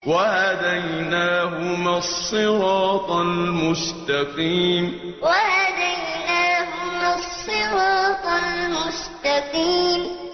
وَهَدَيْنَاهُمَا الصِّرَاطَ الْمُسْتَقِيمَ وَهَدَيْنَاهُمَا الصِّرَاطَ الْمُسْتَقِيمَ